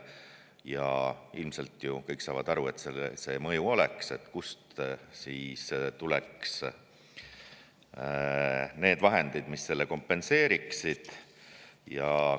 Kuna ilmselt kõik saavad aru, et see mõju oleks, siis kust tuleks need vahendid, mis selle kompenseeriksid?